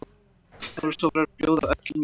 Þórsarar bjóða öllum í Brynju!